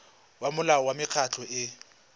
ya molao wa mekgatlho e